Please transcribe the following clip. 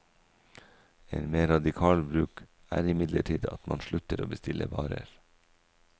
En mer radikal bruk er imidlertid at man slutter å bestille varer.